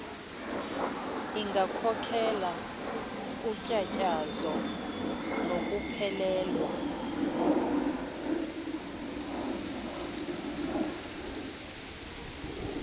ingakhokhelela kutyatyazo nokuphelelwa